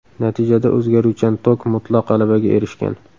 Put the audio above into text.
Natijada o‘zgaruvchan tok mutlaq g‘alabaga erishgan.